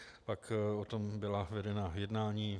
Pak o tom byla vedena jednání.